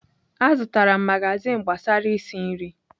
Azụtara m magazin gbasara isi nri.